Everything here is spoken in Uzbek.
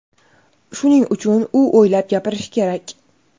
Shuning uchun u o‘ylab gapirishi kerak.